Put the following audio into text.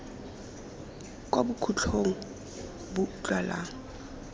kwa bokhutlong bo bo utlwalang